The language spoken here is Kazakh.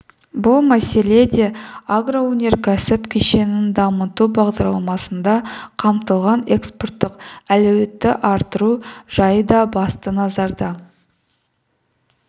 бұл мәселе де агроөнеркәсіп кешенін дамыту бағдарламасында қамтылған экспорттық әлеуетті арттыру жайы да басты назарда